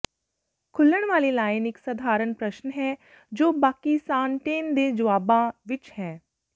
ਖੁੱਲਣ ਵਾਲੀ ਲਾਈਨ ਇੱਕ ਸਧਾਰਨ ਪ੍ਰਸ਼ਨ ਹੈ ਜੋ ਬਾਕੀ ਸਾੱਨਟੇਨ ਦੇ ਜਵਾਬਾਂ ਵਿੱਚ ਹੈ